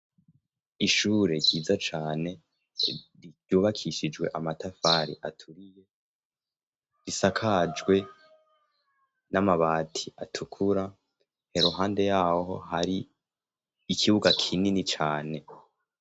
ishure ryiza cane ryubakishijwe amatafari aturiye risakajwe n'amabati atukura iruhande yaho hari ikibuga kinini cyane